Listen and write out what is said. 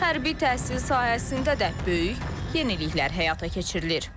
Hərbi təhsil sahəsində də böyük yeniliklər həyata keçirilir.